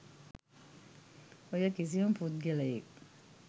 ඔය කිසිම පුද්ගලයෙක්